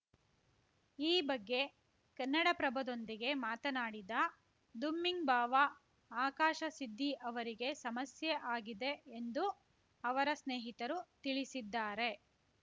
ಈ ಬಗ್ಗೆ ಕನ್ನಡಪ್ರಭದೊಂದಿಗೆ ಮಾತನಾಡಿದ ದುಮ್ಮಿಂಗ್‌ ಭಾವ ಆಕಾಶ ಸಿದ್ದಿ ಅವರಿಗೆ ಸಮಸ್ಯೆ ಆಗಿದೆ ಎಂದು ಅವರ ಸ್ನೇಹಿತರು ತಿಳಿಸಿದ್ದಾರೆ